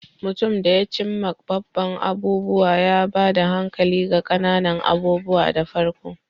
Mutum da ya cim ma babban abubuwa, ya ba da hankali ga ƙananan abubuwa da farko.